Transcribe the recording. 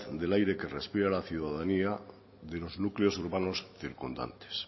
del aire que respira la ciudadanía de los núcleos urbanos circundantes